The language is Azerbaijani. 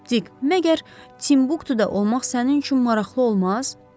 Dik, məgər Timbuktuda olmaq sənin üçün maraqlı olmaz?